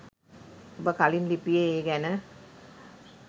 ඔබ කලින් ලිපියේ ඒ ගැන